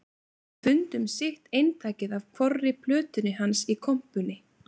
Við fundum sitt eintakið af hvorri plötunni hans í kompunni